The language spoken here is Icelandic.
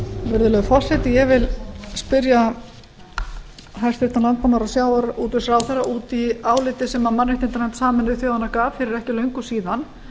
virðulegur forseti ég vil spyrja hæstvirtan landbúnaðar og sjávarútvegsráðherra út í álitið sem mannréttindanefnd sameinuðu þjóðanna gaf fyrir ekki löngu síðan